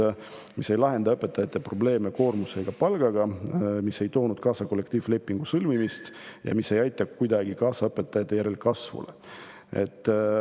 See dokument ei lahenda õpetajate koormuse ega palga probleeme, ei toonud kaasa kollektiivlepingu sõlmimist ega aita kuidagi kaasa õpetajate järelkasvule.